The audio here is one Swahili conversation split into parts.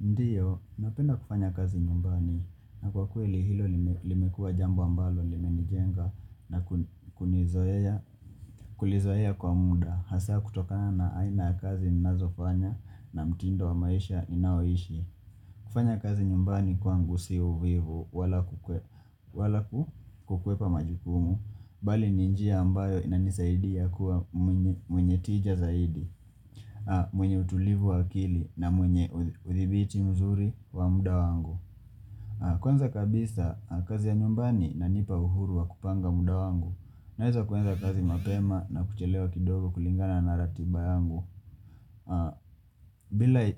Ndiyo, napenda kufanya kazi nyumbani na kwa kweli hilo limekuwa jambo ambalo limenijenga na kulizoea kwa muda. Hasa kutoka na aina kazi nazofanya na mtindo wa maisha inayoishi. Kufanya kazi nyumbani kwangu si uvivu wala kukwepa majukumu. Bali ninjia ambayo inanisaidi ya kuwa mwenye tija zaidi, mwenye utulivu wa akili na mwenye uthibiti mzuri wa muda wangu. Kwanza kabisa, kazi ya nyumbani na inanipa uhuru wa kupanga muda wangu, na hizo kuanza kazi mapema na kuchelewa kidogo kulingana na ratiba yangu.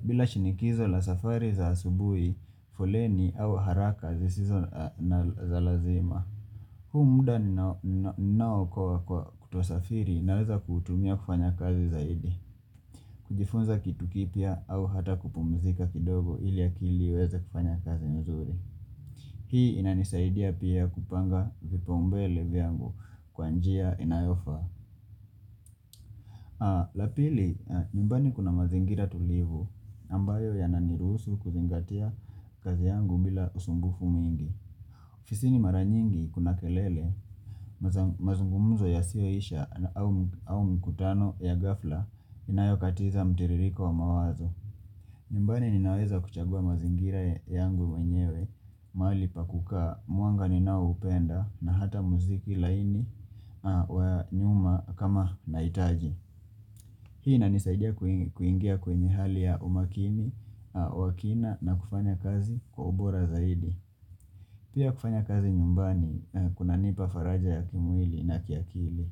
Bila shinikizo la safari za asubui, foleni au haraka zisizo na zalazima, huu muda nao kwa kutuasafiri naweza kutumia kufanya kazi zaidi. Kujifunza kitu kipia au hata kupumizika kidogo ili ya akili iweze kufanya kazi nzuri. Hii inanisaidia pia kupanga vipaumbele viangu kwanjia inayofa. Lapili, nyumbani kuna mazingira tulivu ambayo yananirusu kuzingatia kazi yangu bila usumbufu mwigi. Fisini mara nyingi kuna kelele, mazungumuzo ya siyoisha au mkutano ya gafla inayokatiza mtiririko wa mawazo. Nyumbani ninaweza kuchagua mazingira yangu mwenyewe, mali pakuka, muanga ninao upenda na hata muziki laini wa nyuma kama naitaji. Hii inanisaidia kuingia kwenye hali ya umakini, wakina na kufanya kazi kwa ubora zaidi. Pia kufanya kazi nyumbani, kuna nipa faraja ya kimwili na kiakili.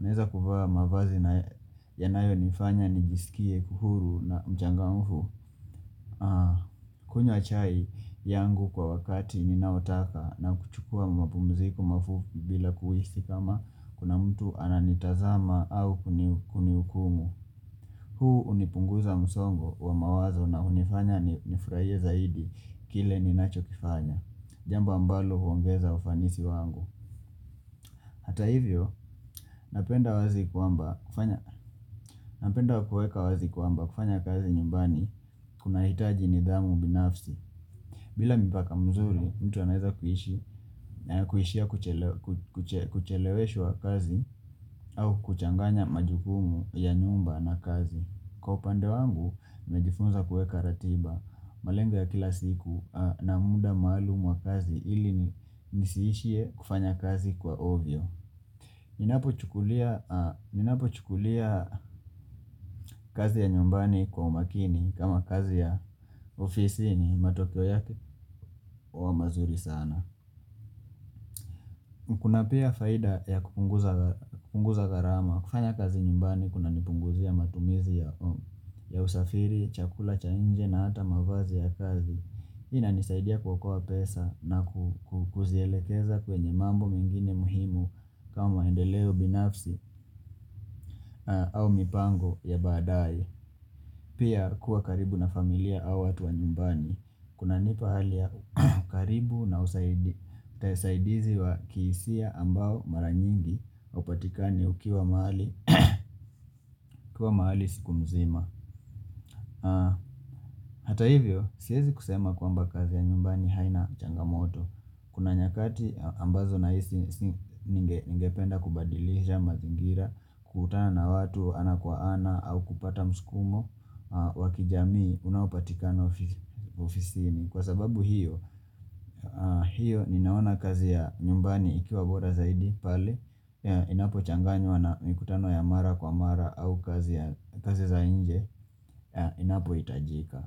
Naeza kufa mavazi yanayo nifanya nijisikie uhuru na mchangamfu. Kunyya chai yangu kwa wakati ninaotaka na kuchukua mapumziko mafupi bila kuhisi kama kuna mtu ananitazama au kuniukumu. Huu unipunguza msongo wa mawazo na unifanya nifraie zaidi kile ninacho kifanya. Jamba ambalo huongeza ufanisi wangu. Hata hivyo, napenda kuweka wazi kwamba kufanya kazi nyumbani kuna hitaji ni dhamu binafsi. Bila mipaka mzuri, mtu anaeza kuishi kucheleweshwa kazi au kuchanganya majukumu ya nyumba na kazi. Kwa upande wangu, nimejifunza kueka ratiba malengo ya kila siku na muda maalumu wa kazi ili nisiishie kufanya kazi kwa ovyo. Minapo chukulia kazi ya nyumbani kwa umakini kama kazi ya ofisi ni matokeo yake kwa mazuri sana. Kuna pia faida ya kupunguza gharama. Kufanya kazi nyumbani, kuna nipunguzia matumizi ya usafiri, chakula, cha nje na hata mavazi ya kazi. Ina nisaidia kuokoa pesa na kukuzielekeza kwenye mambo mengine muhimu kama maendeleo binafsi au mipango ya badae. Pia kuwa karibu na familia au watu wa nyumbani. Kuna nipa hali ya karibu na usaidizi wa kiisia ya ambao mara nyingi upatikani ukiwa maali siku mzima. Hata hivyo, siezi kusema kwamba kazi ya nyumbani haina changamoto Kuna nyakati ambazo na hisi ninge penda kubadilisha mazingira kutana na watu ana kwa ana au kupata mskumo wakijamii unaopatikana ofisini Kwa sababu hiyo, hiyo ninaona kazi ya nyumbani ikiwa boda zaidi pali Inapo changanywa na mikutano ya mara kwa mara au kazi za nje Inapo itajika.